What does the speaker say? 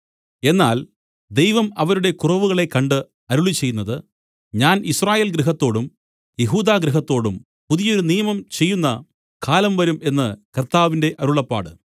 എന്നാൽ ദൈവം അവരുടെ കുറവുകളെ കണ്ട് അരുളിച്ചെയ്യുന്നത് ഞാൻ യിസ്രായേൽ ഗൃഹത്തോടും യെഹൂദാഗൃഹത്തോടും പുതിയൊരു നിയമം ചെയ്യുന്ന കാലം വരും എന്നു കർത്താവിന്റെ അരുളപ്പാട്